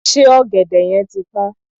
Ṣé ọ̀gẹ̀dẹ̀ yẹn ti pọ́n?